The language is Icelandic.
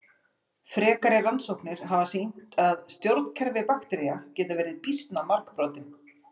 Frekari rannsóknir hafa sýnt að stjórnkerfi baktería geta verið býsna margbrotin.